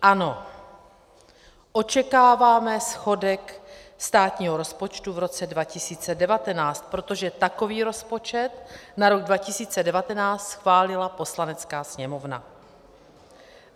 Ano, očekáváme schodek státního rozpočtu v roce 2019, protože takový rozpočet na rok 2019 schválila Poslanecká sněmovna.